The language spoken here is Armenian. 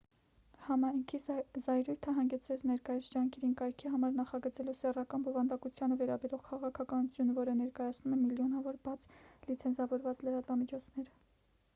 համայնքի զայրույթը հանգեցրեց ներկայիս ջանքերին կայքի համար նախագծելու սեռական բովանդակությանը վերաբերող քաղաքականություն որը ներկայացնում է միլիոնավոր բաց լիցենզավորված լրատվամիջոցներ